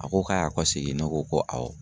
A ko k'a y'a kɔsegin ne ko ko awɔ.